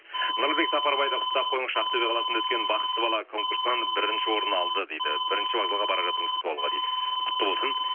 нұрлыбек сапарбайды құттықтап қойыңызшы ақтөбе қаласында өткен бақытты бала конкурсынан бірінші орын алды дейді бірінші вокзалға бара жатырмыз күтіп алуға дейді құтты болсын